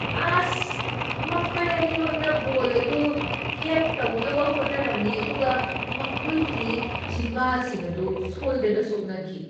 ꯑꯁ! ꯃꯈꯣꯏ ꯑꯅꯤꯃꯛꯅ ꯕꯣꯜ ꯑꯗꯨ ꯍꯦꯗ ꯇꯧꯅꯕ ꯍꯣꯠꯅꯔꯝꯃꯤ ꯑꯗꯨꯒ ꯃꯈꯣꯏꯒꯤ ꯆꯤꯟꯕꯥꯜꯁꯤꯡ ꯑꯗꯨ ꯁꯣꯏꯗꯅ ꯁꯣꯛꯅꯈꯤ꯫